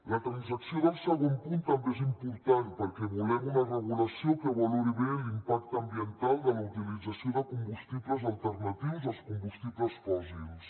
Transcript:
la transacció del segon punt també és important perquè volem una regulació que valori bé l’impacte ambiental de la utilització de combustibles alternatius als combustibles fòssils